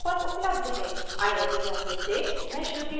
I I T Bombay से मैं श्रुति आर्य आपसे विदा लेती हूँ